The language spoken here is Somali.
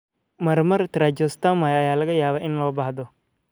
Marmar, tracheostomy ayaa laga yaabaa in loo baahdo.